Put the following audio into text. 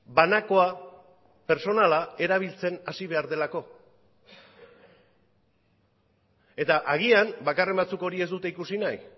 banakoa pertsonala erabiltzen hasi behar delako eta agian bakarren batzuk hori ez dute ikusi nahi